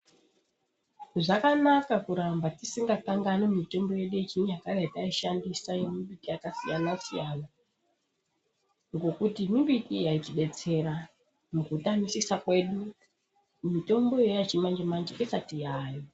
Zvakanaka kuramba tisingakanganwi mitombo yedu yechinyakare yataishandisa yemumbiti yakasiyana-siyana. Ngokuti mimbiti yaitibetsera mukutamisisa kwedu mitombo iyoyo yechimanje-manje isati yaayo.